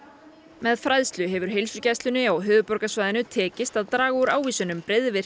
með fræðslu hefur heilsugæslunni á höfuðborgarsvæðinu tekist að draga úr ávísunum